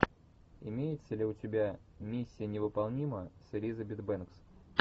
имеется ли у тебя миссия невыполнима с элизабет бэнкс